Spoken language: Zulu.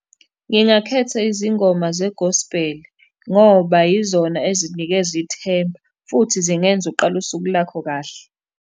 Ngingakhetha izingoma zegosbheli, ngoba yizona ezinikeza ithemba, futhi zingenza uqale usuku lakho kahle.